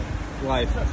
Getdik live.